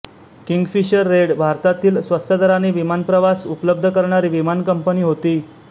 Kingfisher Red भारतातील स्वस्तदराने विमानप्रवास उपलब्ध करणारी विमान कंपनी होती